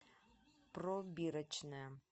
пробирочная